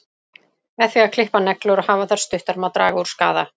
Með því að klippa neglur og hafa þær stuttar má draga úr skaða.